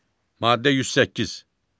Maddə 108.